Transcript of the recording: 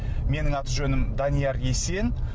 менің аты жөнім данияр есен